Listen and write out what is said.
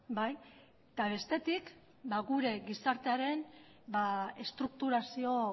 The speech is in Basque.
bai eta bestetik gure gizartearen estrukturazio